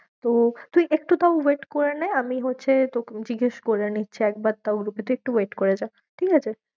তো তুই একটু তাও wait করে নে, আমি হচ্ছে জিগেস করে নিচ্ছি একবার তাও একটু wait করে যা, ঠিক আছে?